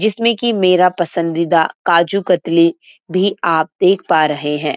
जिसमे की मेरा पसंदीदा काजू कतली भी आप देखा पा रहे हैं।